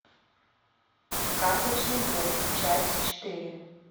карточный домик часть четыре